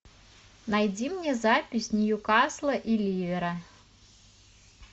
найди мне запись ньюкасла и ливера